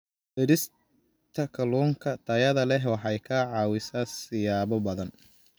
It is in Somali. Beerista Kalluunka Tayada leh waxay ka caawisaa siyaabo badan.